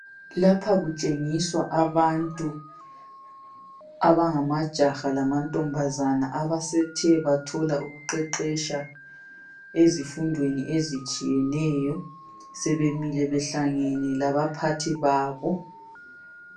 Lapha kutshengiswa abantu abangamajaha lamantombazana abasethe bathola ukuqeqetsha ezifundweni ezitshiyeneyo, sebemile behlangene labaphathi babo.